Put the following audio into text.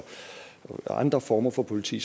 andre former for politi